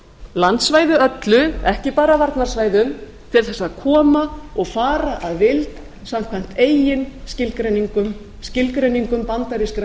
landssvæði öllu ekki bara varnarsvæðum til þess að koma og fara að vild samkvæmt eigin skilgreiningum skilgreiningum bandarískra